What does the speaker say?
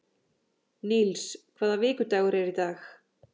Níls, hvaða vikudagur er í dag?